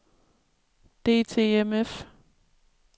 DTMF